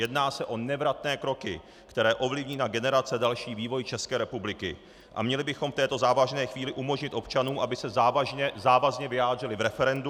Jedná se o nevratné kroky, které ovlivní na generace další vývoj České republiky, a měli bychom v této závažné chvíli umožnit občanům, aby se závazně vyjádřili v referendu.